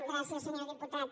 gràcies senyor diputat